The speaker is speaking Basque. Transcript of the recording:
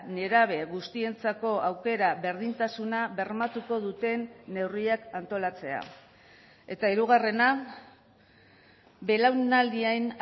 nerabe guztientzako aukera berdintasuna bermatuko duten neurriak antolatzea eta hirugarrena belaunaldien